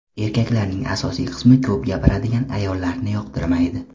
Erkaklarning asosiy qismi ko‘p gapiradigan ayollarni yoqtirmaydi.